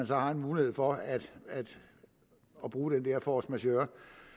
så har en mulighed for at bruge den force majeure